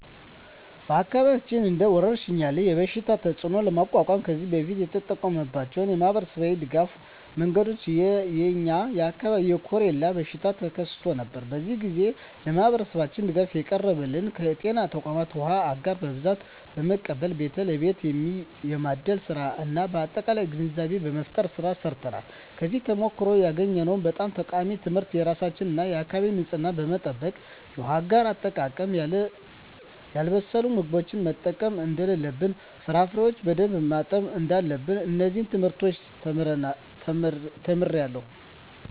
በአካባቢያችን እንደ ወረርሽኝ ያለ የበሽታ ተፅእኖ ለመቋቋም ከዚህ በፊት የተጠቀምንባቸው የማኅበረሰብ ድጋፍ መንገዶች የ የኛ አካባቢ የኮሬላ በሽታ ተከስቶ ነበር። በዚያ ግዜ ለማህበረሠባችን ድጋፍ ያቀረብንበት ከጤና ተቋማት ዉሃ አጋር በብዛት በመቀበል ቤት ለቤት የማደል ስራ እና የአጠቃቀም ግንዛቤ መፍጠር ስራ ሰርተናል። ከዚያ ተሞክሮ ያገኘሁት በጣም ጠቃሚ ትምህርት የራስን እና የአካቢን ንፅህና መጠበቅ፣ የውሃ አጋር አጠቃቀም፣ ያልበሰሉ ምግቦችን መጠቀም እደለለብን፣ ፍራፍሬዎችን በደንብ ማጠብ እዳለብን። እነዚን ትምህርቶች ተምሬአለሁ።